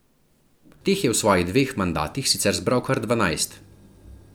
Teh je v svojih dveh mandatih sicer zbral kar dvanajst.